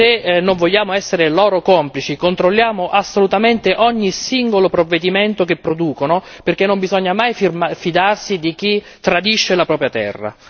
Se non vogliamo essere loro complici controlliamo assolutamente ogni singolo provvedimento che producono, perché non bisogna mai fidarsi di chi tradisce la propria terra.